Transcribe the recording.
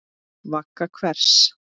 Vagga hvers?